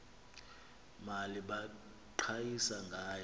mali baqhayisa ngayo